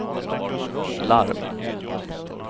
larm